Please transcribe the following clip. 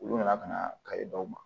Olu nana ka na kayi dɔw ma